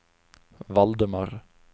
Valdemar